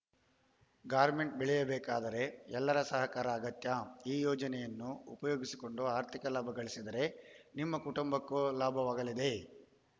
garment ಬೆಳೆಯಬೇಕಾದರೆ ಎಲ್ಲರ ಸಹಕಾರ ಅಗತ್ಯ ಈ ಯೋಜನೆಯನ್ನು ಉಪಯೋಗಿಸಿಕೊಂಡು ಆರ್ಥಿಕ ಲಾಭ ಗಳಿಸಿದರೆ ನಿಮ್ಮ ಕುಟಂಬಕ್ಕೂ ಲಾಭವಾಗಲಿದೆ